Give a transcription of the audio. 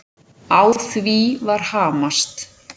Á því var hamast.